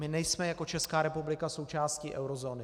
My nejsme jako Česká republika součástí eurozóny.